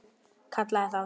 Kallaði þá þjófa.